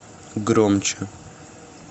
громче